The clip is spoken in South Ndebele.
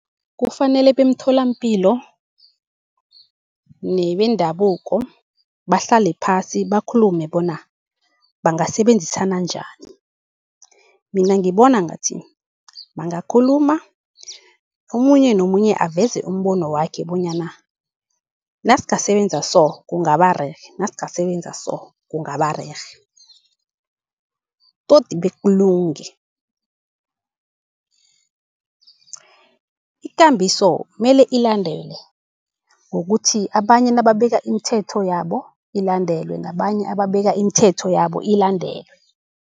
Kufanele bemtholampilo nebendabuko bahlale phasi bakhulume bona, bangasebenzisana njani. Mina ngibona ngathi bangakhuluma omunye nomunye aveze umbono wakhe, bonyana nasingasebenza so kungaba rerhe, nasingasebenza so kungaba rerhe toti bekulunge. Ikambiso mele ilandelwe ngokuthi abanye nakabeka imithetho yabo ilandelwe, nabanye nababeke imithetho yabo ilandelwe.